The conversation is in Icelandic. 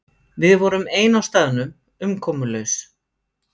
Við vorum ein á staðnum, umkomulaus.